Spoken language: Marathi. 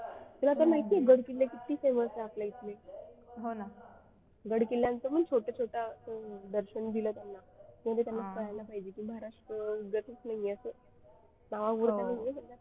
तुला तर माहिती आहे गड किल्ले किती famous आहेत आपल्याकडे गडकिल्ल्यांचे पण छोट्या छोट्या दर्शन दिले त्यांना किंवा त्यांना कळालं पाहिजे की महाराष्ट्र उगाचच नाही आहे असं